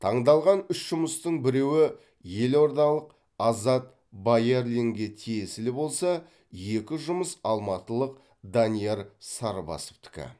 таңдалған үш жұмыстың біреуі елордалық азат баярлинге тиесілі болса екі жұмыс алматылық данияр сарбасовтікі